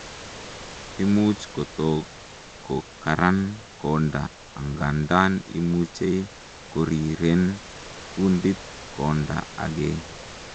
imuch kotok kokaran konda angandan imuchei koriren kundit konda agei